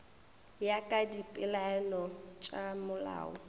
ya ka dipeelano tša molao